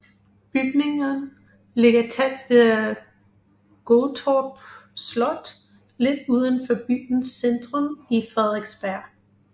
Bygningen ligger tæt ved Gottorp Slot lidt uden for byens centrum i Frederiksberg